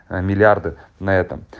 миллиарды на этом